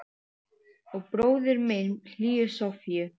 Og bróðir minn hlýju Sofíu.